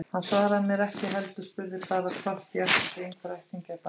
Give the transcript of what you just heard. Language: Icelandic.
Hann svaraði mér ekki, heldur spurði bara hvort ég ætti ekki einhverja ættingja í bænum.